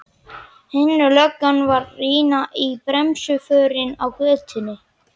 Hin löggan var að rýna í bremsuförin á götunni.